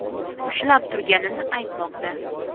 ushlab turganini aytmoqda.